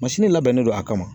Mansini labɛnnen don a kama.